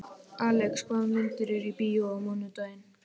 Alex, hvaða myndir eru í bíó á mánudaginn?